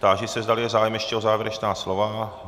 Táži se, zdali je zájem ještě o závěrečná slova.